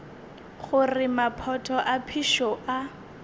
gore maphoto a phišo a